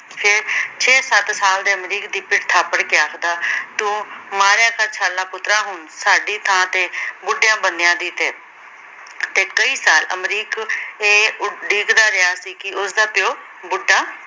ਛੇ-ਸੱਤ ਸਾਲ ਦੇ ਅਮਰੀਕ ਦੀ ਪਿੱਠ ਥਾਪੜ ਕੇ ਆਖਦਾ, ਤੂੰ ਮਾਰਿਆ ਕਰ ਛਾਲ਼ਾਂ ਪੁੱਤਰਾਂ ਹੁਣ ਸਾਡੀ ਥਾਂ ਤੇ ਬੁਢਿਆਂ ਬੰਦਿਆਂ ਦੀ ਤੇ। ਤੇ ਕਈ ਸਾਲ ਅਮਰੀਕ ਇਹ ਉਡੀਕ ਦਾ ਰਿਹਾ ਸੀ ਕੇ ਉਸਦਾ ਪਿਉ ਬੁਢਾ